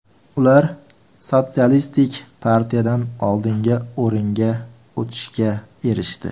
Ular Sotsialistik partiyadan oldinga o‘ringa o‘tishga erishdi.